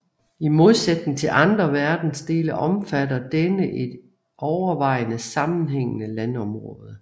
I modsætning til andre verdensdele omfatter denne ikke et overvejende sammenhængende landområde